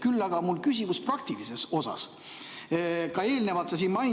Küll aga on mul küsimus praktilise kohta.